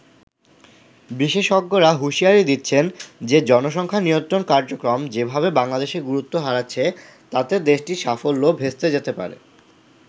বিশেষজ্ঞরা হুঁশিয়ারি দিচ্ছেন যে জনসংখ্যা নিয়ন্ত্রণ কার্যক্রম যেভাবে বাংলাদেশে গুরুত্ব হারাচ্ছে, তাতে দেশটির সাফল্য ভেস্তে যেতে পারে।